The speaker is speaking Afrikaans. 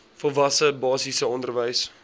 volwasse basiese onderwys